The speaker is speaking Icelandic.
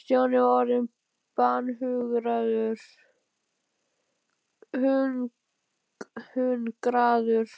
Stjáni var orðinn banhungraður